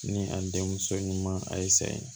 Ni a denmuso ɲuman a ye saye